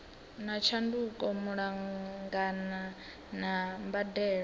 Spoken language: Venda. na tshanduko malugana na mbadelo